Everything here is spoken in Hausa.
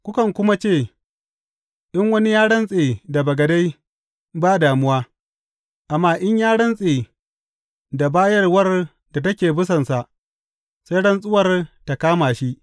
Kukan kuma ce, In wani ya rantse da bagade, ba damuwa; amma in ya rantse da bayarwar da take bisansa, sai rantsuwar ta kama shi.’